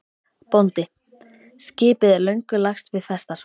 BÓNDI: Skipið er löngu lagst við festar.